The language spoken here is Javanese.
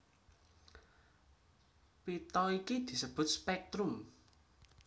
Pita iki disebut spèktrum